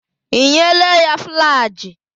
Ị nyela ya Flajịl?